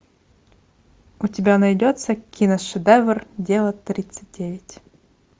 у тебя найдется киношедевр дело тридцать девять